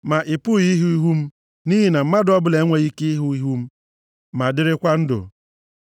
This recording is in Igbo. Ma ị pụghị ịhụ ihu m nʼihi na mmadụ ọbụla enweghị ike ịhụ ihu m ma dịrịkwa ndụ.”